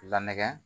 Lamɛ